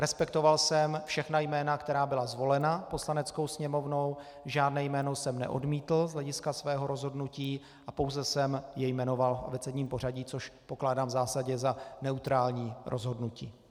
Respektoval jsem všechna jména, která byla zvolena Poslaneckou sněmovnou, žádné jméno jsem neodmítl z hlediska svého rozhodnutí a pouze jsem je jmenoval v abecedním pořadí, což pokládám v zásadě za neutrální rozhodnutí.